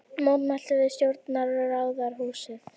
Mótmæltu við stjórnarráðshúsið